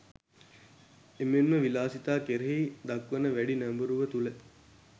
එමෙන්ම විලාසිතා කෙරෙහි දක්වන වැඩි නැඹුරුව තුළ